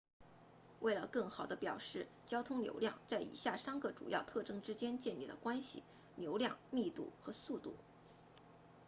为了更好地表示交通流量在以下三个主要特征之间建立了关系1流量2密度和3速度